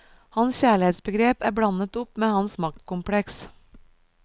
Hans kjærlighetsbegrep er blandet opp med hans maktkompleks.